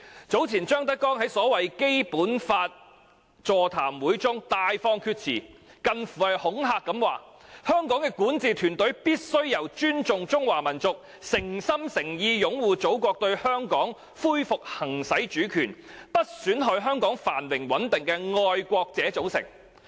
張德江早前在所謂《基本法》座談會中大放厥辭，以近乎恐嚇的言語說，香港的管治團隊應由尊重中華民族，誠心誠意擁護祖國對香港恢復行使主權，不損害香港繁榮穩定的愛國人士組成。